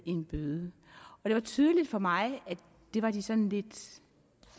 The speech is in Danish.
en bøde det var tydeligt for mig at det var de sådan lidt